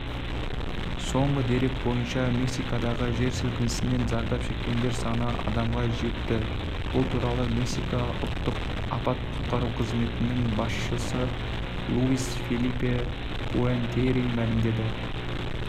соңғы дерек бойынша мексикадағы жер сілкінісінен зардап шеккендер саны адамға жетті бұл туралы мексика ұлттық апат-құтқару қызметінің басшысылуис фелипе пуэнтери мәлімдеді